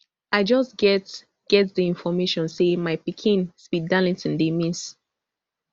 i just get get di information say my pikin speed darlington dey miss